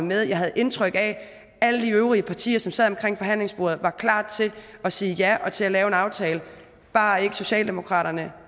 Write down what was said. med og jeg havde indtryk af at alle de øvrige partier som sad omkring forhandlingsbordet var klar til at sige ja til at lave en aftale bare ikke socialdemokratiet